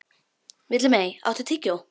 Villimey, áttu tyggjó?